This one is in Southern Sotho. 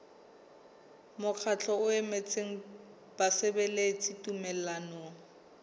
mokgatlo o emetseng basebeletsi tumellanong